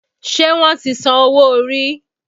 Ṣé wọ́n ti san owó orí?